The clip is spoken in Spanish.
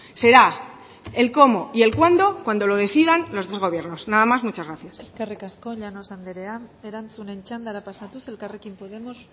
será el cómo y el cuándo cuando lo decidan los dos gobiernos nada más muchas gracias eskerrik asko llanos andrea erantzunen txandara pasatuz elkarrekin podemos